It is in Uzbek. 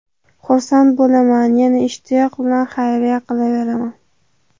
Xursand bo‘laman, yana ishtiyoq bilan xayriya qilaveraman.